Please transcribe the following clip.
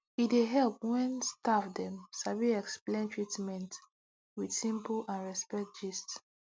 e dey help well when staff dem sabi explain treatment with simple and respect gist